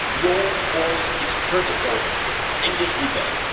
Your voice is critical in this debate.